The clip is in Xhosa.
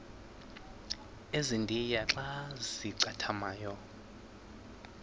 ezintia xa zincathamayo